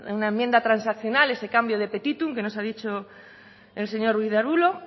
una enmienda transaccional ese cambio de petitum que nos ha dicho el señor ruiz de arbulo